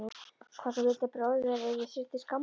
Hvort hún vildi að bróðir þeirra yrði sér til skammar?